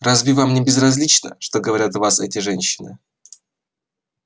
разве вам не безразлично что говорят о вас эти женщины